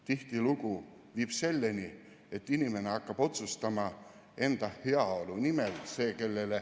Tihtilugu viib see selleni, et inimene hakkab otsustama enda heaolu nimel.